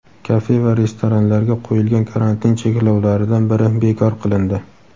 Kafe va restoranlarga qo‘yilgan karantin cheklovlaridan biri bekor qilindi.